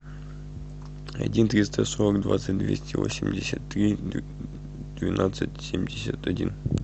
один триста сорок двадцать двести восемьдесят три двенадцать семьдесят один